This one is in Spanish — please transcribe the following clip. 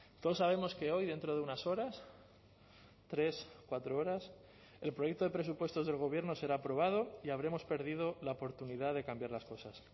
todos sabemos que hoy dentro de unas horas tres cuatro horas el proyecto de presupuestos del gobierno será aprobado y habremos perdido la oportunidad de cambiar las cosas